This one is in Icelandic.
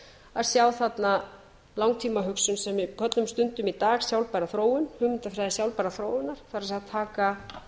að sjá þarna langtímahugsun sem við köllum stundum í dag sjálfbæra þróun hugmyndafræði sjálfbærrar þróunar það er að taka